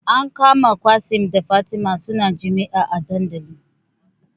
An kama Qassim da Fatima suna jima'i a dandali